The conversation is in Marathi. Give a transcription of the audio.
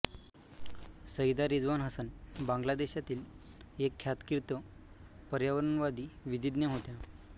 सईदा रिझवान हसन बांगला देशातील एक ख्यातकीर्त पर्यावरणवादी विधिज्ञा होत्या